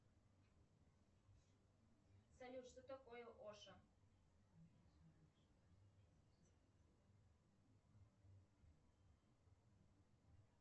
салют что такое оша